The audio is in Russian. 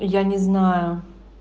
я не знаю